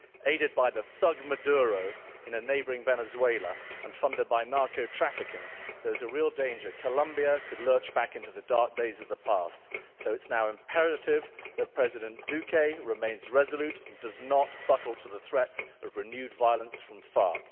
Aided by the thug Maduro in neighbouring Venezuela and funded by narco-trafficking, there is a real danger that Colombia could lurch back into the dark days of the past, so it is now imperative that President Duque remains resolute and does not buckle to the threats of renewed violence from FARC.